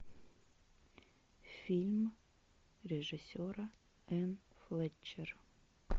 фильм режиссера энн флетчер